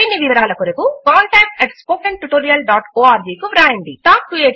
మరిన్ని వివరముల కొరకు contactspoken tutorialorg కు వ్రాయండి